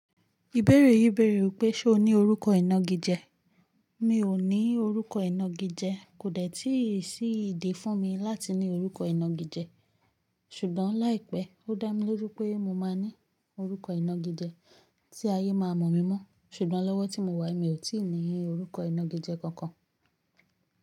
Ìbéèrè yìí bèèrè wípé ṣe o ní orúkọ ìnagijẹ? Mi ò ní orúkọ ìnagijẹ, kò détí sí ìdí fún mi láti ní orúkọ ìnagijẹ, ṣùgbọ́n láìpẹ́, ó dá mi loju pé mo máa ní orúkọ ìnagijẹ tí ayé ma mọ̀ mi mọ́. Ṣùgbọ́n lọ́wọ́ tí mo wà èmi ò tíì ní orúkọ ìnagijẹ kankan.